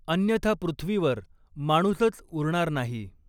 अन्यथा पृथ्वीवर माणूसच उरणार नाही.